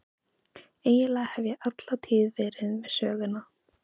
Eiginlega hef ég alla tíð verið með Söguna.